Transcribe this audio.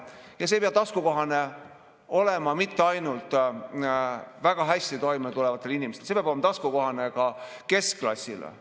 Ja see ei pea taskukohane olema mitte ainult väga hästi toime tulevatele inimestele, vaid see peab olema taskukohane ka keskklassile.